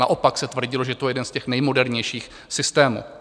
Naopak se tvrdilo, že je to jeden z těch nejmodernějších systémů.